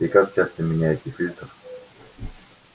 и как часто меняете фильтр